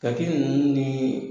Kaki ninnu ni